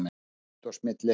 Smit og smitleiðir